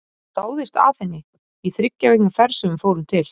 Ég dáðist að henni í þriggja vikna ferð sem við fórum til